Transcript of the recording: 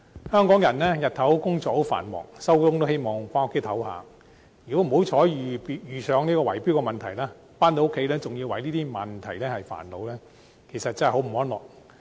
香港人白天工作繁忙，下班後都希望回家休息，如果不幸遇上圍標問題，回家仍要為這些問題而煩惱，真是生活得不太安樂。